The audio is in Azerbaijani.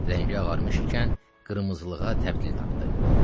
Rəngi ağarmış ikən qırmızılığa təbdil tapdı.